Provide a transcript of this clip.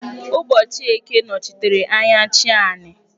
Ụbọchị eke nọchitere anya "chi anị"